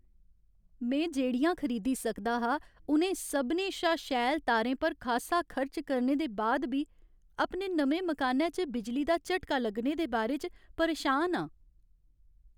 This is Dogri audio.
में जेह्ड़ियां खरीदी सकदा हा उ'नें सभनें शा शैल तारें पर खासा खर्च करने दे बाद बी अपने नमें मकानै च बिजली दा झटका लग्गने दे बारे च परेशान हा ।